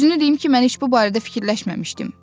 Düzünü deyim ki, mən heç bu barədə fikirləşməmişdim.